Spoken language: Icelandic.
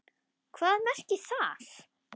Hvað merkir það?!